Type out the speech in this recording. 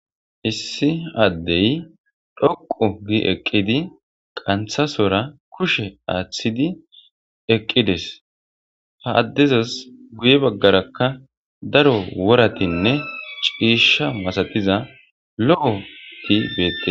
issi addey dhoqu gi eqqidi qanthasora kushe aaththidi eqqides ha addezas guye baggarakka daro woratinne ciisha masatiza lo7o tibete